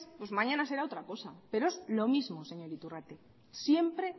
pues mañana será otra cosa pero es lo mismo señor iturrate siempre